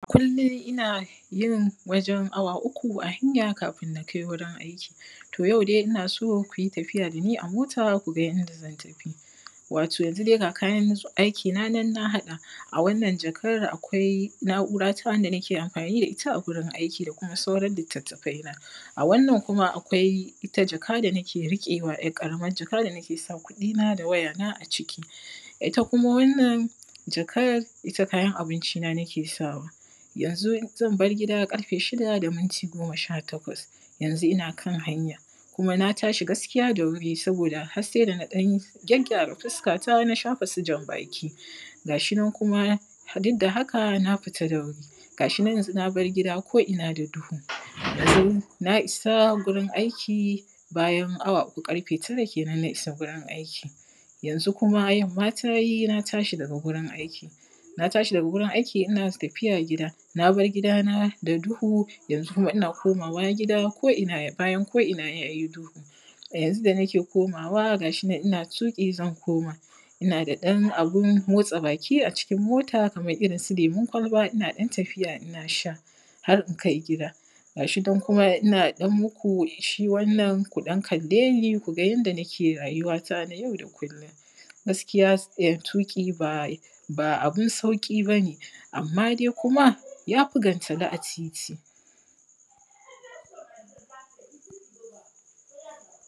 Kullum ina yin wajen awa uku a hanya kafin na kai wurin aiki. To yau dai ina so ku yi tafiya da ni a mota ku ga yanda zan tafi. Wato yanzu dai ga kayan aiki na nan dai na haɗa. A wannan jakar akwai na’ura ta wanda nike amfani da ita wuri aiki da kuma sauran littattafaina. A wannan kuma akwai jaka da nike riƙewa yar ƙaramar jaka da nike sa kuɗina da wayana a ciki. Ita kuma wannan jakar ita kayan abinci na nike sawa. Yanzu zan bar gida ƙarfe shida da minti goma sha takwas. Yanzu ina kan hanya kuma na tashi gaskiya da wuri saboda har sai da na ɗan gyagygyara fuskata na shafa su jan baki, ga shi nan kuma duk da haka na fita da wuri ga shi nan yanzu na bar gida ko’ina da duhu. Yanzu Na isa gurin aiki bayan awa: uku ƙarfe tara kenan na isa gurin aiki. Yanzu kuma yamma ta yi na tashi daga gurin aiki. Na tashi daga gurin aiki ina tafiya gidan. Na bar gidana da duhu yanzu ina komawa gida da bayan ko’ina ya yi duhu. A yanzu da nike komawa ga shi nan ina tuƙi zan koma. Ina da ɗan abun motsa baki a cikin mota kamar irin su lemun kwalba ina ɗan tafiya ina sha, har in kai gida. Ga shi nan kuma ina ɗan mu ku shi wannan ku ɗan kalle ni ku ga yanda nike rayuwa ta na yau da kullum. Gaskiya yin tuƙi ba ba abun sauƙi ba ne. Amma dai kuma ya fi gantali a titi.